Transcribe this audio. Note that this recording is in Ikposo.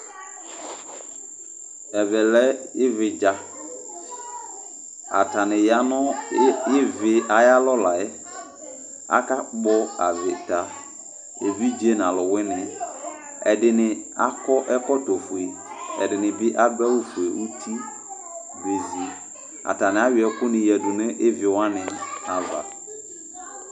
Ɛvɛ lɛ ɩvɩdza Atanɩ yanʋ ɩvɩ ayalɔ layɛ Akpɔ avɩta, evidze n'alʋwɩnɩ, ɛdɩnɩ, akɔ ɛkɔtɔ fue, ɛdɩniɩ bɩ adʋ awʋ fue uti bezi Atanɩ ayɔ ɛkʋ yǝdʋ nʋ ɩvɩ wan avaɩ